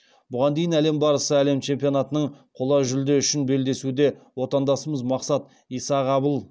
бұған дейін әлем барысы әлем чемпионатының қола жүлде үшін белдесуде отандасымыз мақсат исағабыл